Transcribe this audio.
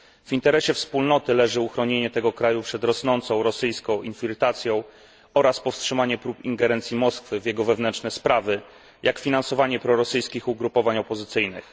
W interesie Unii leży uchronienie tego kraju przed rosnącą rosyjską infiltracją oraz powstrzymanie prób ingerencji Moskwy w jego wewnętrzne sprawy, jak finansowanie prorosyjskich ugrupowań opozycyjnych.